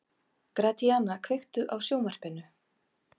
Gratíana, kveiktu á sjónvarpinu.